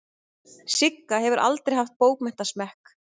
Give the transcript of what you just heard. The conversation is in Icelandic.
Sigga hefur aldrei haft bókmenntasmekk.